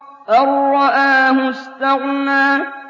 أَن رَّآهُ اسْتَغْنَىٰ